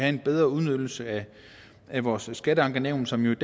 en bedre udnyttelse af vores skatteankenævn som jo